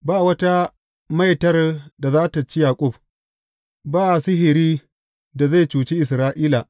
Ba wata maitar da za tă ci Yaƙub, ba sihiri da zai cuci Isra’ila.